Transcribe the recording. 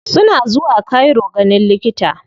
Suna zuwa cairo ganin likita.